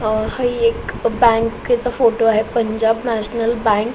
ही एक बँके चा फोटो आहे पंजाब नॅशनल बँक .